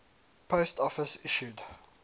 post office issued